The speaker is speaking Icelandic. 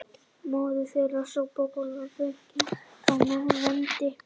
Móðir þeirra sópar gólf og flengir þá með vendi